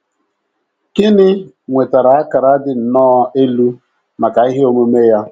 Ginny nwetara akara dị nnọọ elu maka ihe omume ya.